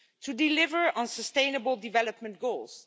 to deliver on sustainable development goals